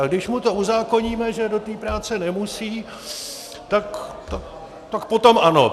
Ale když mu to uzákoníme, že do té práce nemusí, tak potom ano.